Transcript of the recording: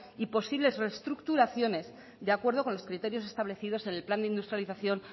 y posibles reestructuraciones de acuerdo con los criterios establecidos en el plan de industrialización